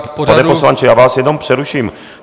Pane poslanče, já vás jenom přeruším.